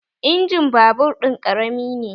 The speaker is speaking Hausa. Injimin babur ɗin ƙarami ne